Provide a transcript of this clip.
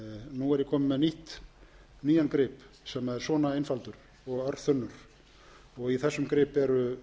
nú er ég kominn með nýjan grip sem er svona einfaldur og örþunnur í þessum grip eru